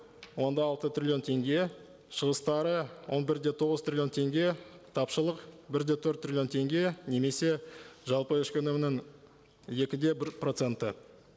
он алты триллион теңге шығыстары он бір де тоғыз триллион теңге тапшылық бір де төрт триллион теңге немесе жалпы ішкі өнімнің екі де бір проценті